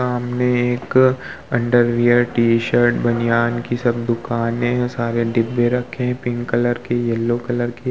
सामने एक underwear T shirt बनियान की सब दुकानें हैं सारे डिब्बे रखे हुए हैं पिंक कलर के येलो कलर के।